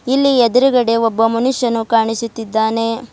ಇಲ್ಲಿ ಎದ್ರುಗಡೆ ಒಬ್ಬ ಮನುಷ್ಯನು ಕಾಣಿಸುತ್ತಿದ್ದಾನೆ.